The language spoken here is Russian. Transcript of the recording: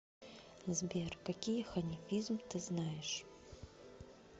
сбер какие ханифизм ты знаешь